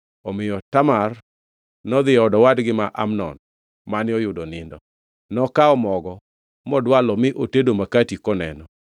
Omiyo Tamar nodhi e od owadgi ma Amnon mane oyudo nindo. Nokawo mogo modwalo mi otedo makati koneno.